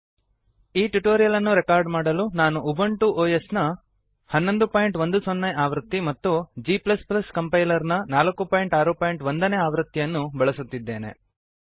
ಈ ಟ್ಯುಟೋರಿಯಲ್ ಅನ್ನು ರೆಕಾರ್ಡ್ ಮಾಡಲು ನಾನು ಉಬುಂಟು ಒಎಸ್ ನ 1110 ನೇ ಆವೃತ್ತಿ ಮತ್ತು g ಕಂಪೈಲರ್ ನ 461 ನೇ ಆವೃತ್ತಿಯನ್ನು ಬಳಸುತ್ತಿದ್ದೇನೆ